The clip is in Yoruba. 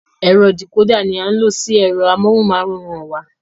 Ẹ̀rọ dìkódà ní a ń lo sí ẹ̀rọ amóhùnmáwòrán wa.